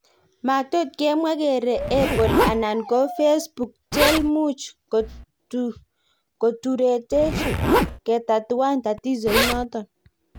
Matotkemwa kere apple anan ko facebook chelmuch koturetech ketatuan tatizo inoton